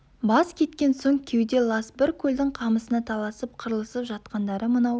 бас кеткен соң кеуде лас бір көлдің қамысына таласып қырылысып жатқандары мынау